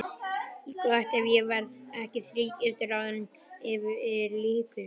Gott ef ég verð ekki þrígiftur áður en yfir lýkur.